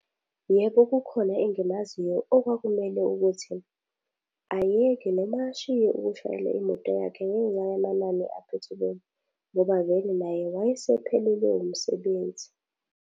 Yebo, ukhona engimaziyo okwakumele ukuthi, ayeke noma ashiye ukushayela imoto yakhe ngenxa yamanani kaphethiloli ngoba vele naye wayesephelelwe umsebenzi.